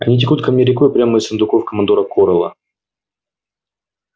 они текут ко мне рекой прямо из сундуков командора корела